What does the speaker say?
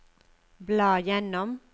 bla gjennom